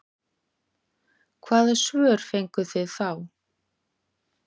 Hvaða svör fenguð þið þá?